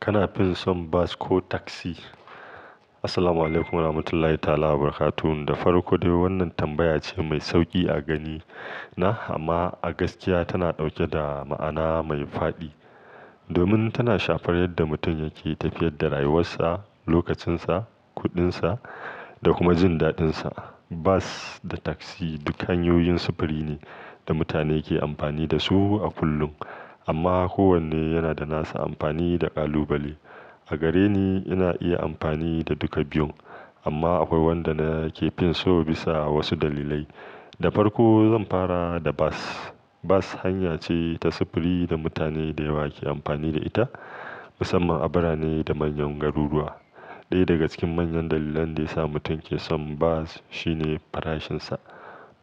Kana fison bas ko taksi? Assalamualaikum warahmatullahi ta'ala wabarakatuh. Da farko dai wannan tambaya ce mai sauƙi a gani na, amma a gaskiya tana ɗauke da ma'ana mai faɗi. Domin tana shafar yadda mutum yake tafiyar da rayuwarsa, lokacinsa, kuɗinsa da kuma jin daɗinsa. Bus da taksi duka hanyoyin sufuri ne da mutane ke amfani da su a kullum, amma kowanne yana da nasa amfani da ƙalubale. A gare ni, ina iya amfani da duka biyun, amma akwai wanda na ke fin so bisa wasu dalilai. Da farko zan fara da bas. Bas hanya ce ta sufuri da mutane da yawa ke amfani da ita, musamman a birane da manyan garuruwa. Ɗaya daga cikin manyan dalilan da ya sa mutum ke son bus shine farashinsa.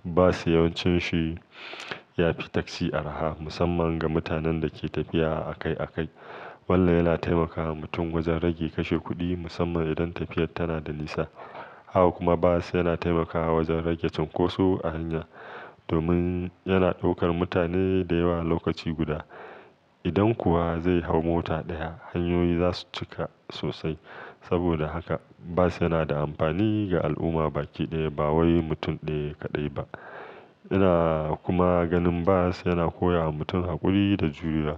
Bus yawancin shi ya fi taksi arha, musamman ga mutanen da ke tafiya a kai a kai. Wannan yana taimakawa mutum wajen rage kashe kuɗi musamman idan tafiyar tana da nisa. Haka kuma bus yana taimakawa wajen rage cunkoso a hanya. Domin yana ɗaukar mutane da yawa a lokaci guda. Idan kuwa zai hau mota ɗaya, hanyoyi za su cika sosai. Saboda haka bus yana da amfani ga al'umma baki ɗaya ba wai mutum ɗaya kaɗai ba. Ina kuma ganin bus yana koya wa mutum haƙuri da juriya.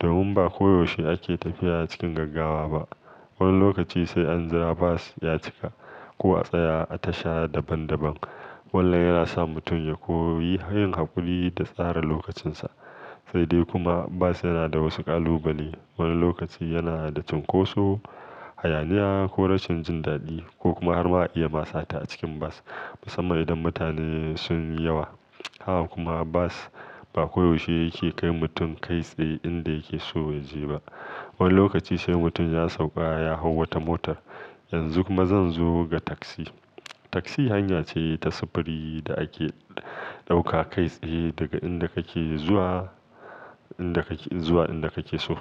Domin ba ko yaushe ake tafiya cikin gaggawa ba. Wani lokaci sai an zira bus ya cika ko a tsaya a tasha daban daban. Wannan yana sa mutum ya koyi hanyar haƙuri da tsara lokacinsa. Sai dai kuma bas yana da wasu ƙalubale. Wani lokaci yana da cunkoso, hayaniya ko rashin jin daɗi ko kuma har ma iya ma sata a cikin bus. Musamman idan mutane sun yi yawa. Haka kuma bus ba koyaushe yake kai mutum kai tsaye inda yake so ya je ba. Wani lokaci sai mutum ya sauƙa ya hau wata motar. Yanzu kuma zan zo ga taksi. Taksi hanya ce ta sufuri da ake ɗauka kai tsaye daga inda kake zuwa inda kake, zuwa inda kake so.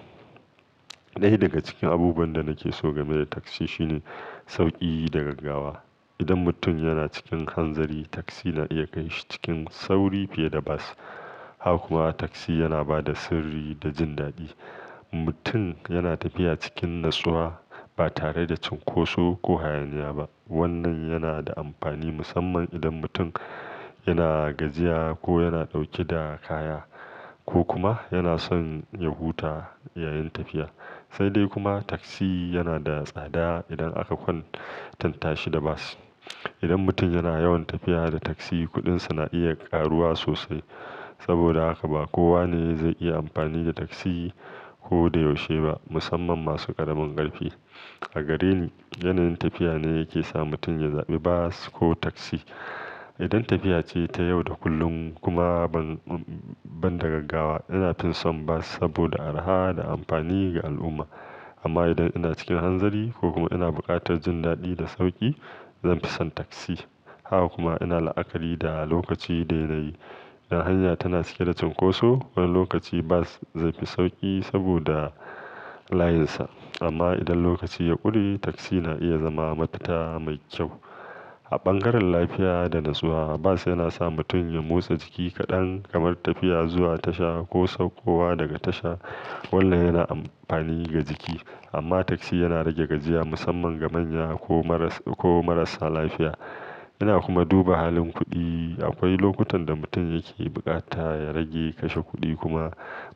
Ɗaya daga cikin abubuwan da nake so game da taksi shine sauƙi da gaggawa. Idan mutum yana cikin hanzari, taksi na iya kai shi cikin sauri fiye da bus. Haka kuma taksi yana ba da sirri da jin daɗi. Mutum yana tafiya cikin natsuwa ba tare da cunkoso ko hayaniya ba. Wannan yana da amfani musamman idan mutum yana gajiya ko yana ɗauke da kaya ko kuma yana son ya huta yayin tafiya. Sai dai kuma taksi yana da tsada idan aka kwanta tashi da bas. Idan mutum yana yawan tafiya da taksi, kuɗinsa na iya ƙaruwa sosai. Saboda haka ba kowa ne zai iya amfani da taksi ko da yaushe ba, musamman masu ƙaramin ƙarfi. A gare ni, yanayin tafiya ne yake sa mutum ya zaɓi bas ko taksi. Idan tafiya ce ta yau da kullum kuma ban, ban da gaggawa, ina fison bus saboda arha da amfani ga al'umma. Amma idan ina cikin hanzari ko kuma ina buƙatar jin daɗi da sauƙi, zan fi son taksi. Haka kuma ina la'akari da lokaci daidai. Idan hanya tana cike da cunkoso, wani lokaci bus zai fi sauƙi saboda layinsa. Amma idan lokaci ya ƙure, taksi na iya zama mataƙa mai kyau. A bangaren lafiya da natsuwa, bus yana sa mutum ya motsa jiki kaɗan kamar tafiya zuwa tasha ko saukowa daga tasha. Walla yana amfani ga jiki. Amma taksi yana rage gajiya musamman ga manya ko marasa, ko marasa lafiya. Ina kuma duba halin kuɗi. Akwai lokutan da mutum yake bukata ya rage kashe kuɗi kuma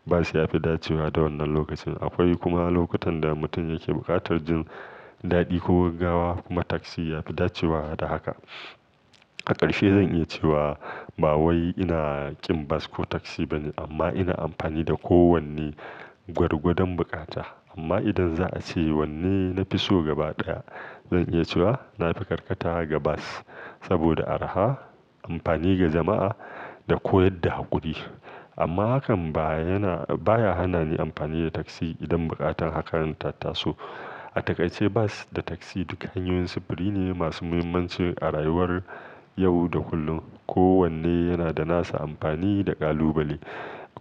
bus ya fi dacewa da wannan lokacin. Akwai kuma lokutan da mutum yake buƙatar jin daɗi ko gaggawa kuma taksi yafi dacewa da haka. A ƙarshe zan iya cewa ba wai ina ƙin bus ko taksi bane, amma ina amfani da kowanne gwargwadon bukata. Amma idan za a ce wanne na fi so gaba ɗaya, zan iya cewa na fi karkata ga bus saboda arha, amfani ga jama'a da koyar da haƙuri. Amma hakan ba yana, baya hana ni amfani da taksi idan buƙatar hakaran ta taso. A takaice bus da taksi duka hanyoyin sufuri ne masu muhimmanci a rayuwar yau da kullum. Ko wanne yana da nasa amfani da ƙalubale.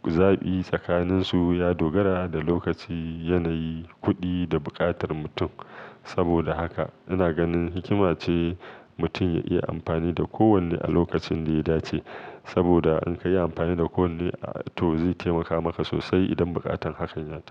Zaɓi tsakaninsu ya dogara da lokaci, yanayi, kuɗi da buƙatar mutum. Saboda haka ina ganin hikima ce mutum ya iya amfani da kowanne a lokacin da ya dace. Saboda in ka yi amfani da kowanne a to zai taimaka maka sosai idan buƙatar hakan ya taso.